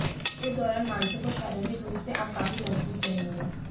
इस दौरान मानसिक और शारीरिक रूप से आप काफी मजबूत रहेंगे